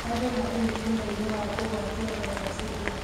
Andũ marĩ mũtino-inĩ wa kũgwatio vairasi ĩyo